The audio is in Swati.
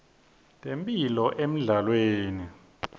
temphilo emidlalweni